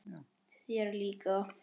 Þér líka?